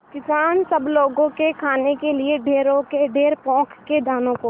किसान सब लोगों के खाने के लिए ढेरों के ढेर पोंख के दानों को